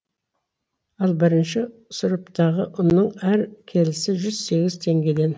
ал бірінші сұрыптағы ұнның әр келісі жүз сегіз теңгеден